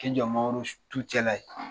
K'i jɔ mangoro tu cɛla in .